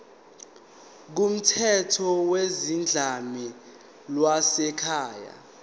kumthetho wezodlame lwasekhaya